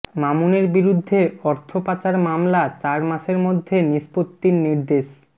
মামুনের বিরুদ্ধে অর্থপাচার মামলা চার মাসের মধ্যে নিষ্পত্তির নির্দেশ